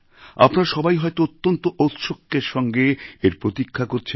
আপনারা সবাই হয়তো অত্যন্ত ঔৎসুক্যের সঙ্গে এর প্রতীক্ষা করছেন